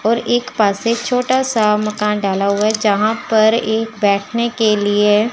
और एक पास से छोटा सा मकान डाला हुआ है जहां पर एक बैठने के लिए--